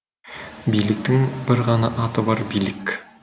биліктің бір ғана аты бар билік